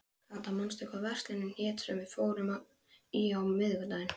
Kata, manstu hvað verslunin hét sem við fórum í á miðvikudaginn?